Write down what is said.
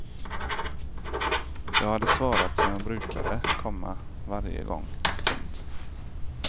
Jag hade svarat som jag brukade, komma varje gång. punkt